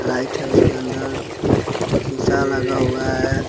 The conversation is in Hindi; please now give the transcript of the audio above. लाइट है उसके अंदर शीशा लगा हुआ है ।